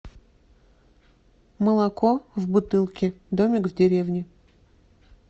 молоко в бутылке домик в деревне